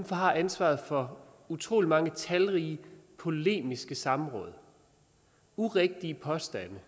har ansvaret for utrolig mange talrige polemiske samråd og urigtige påstande